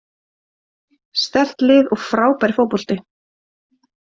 Sterkt lið og frábær fótbolti.